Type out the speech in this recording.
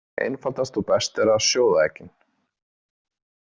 Einfaldast og best er að sjóða eggin.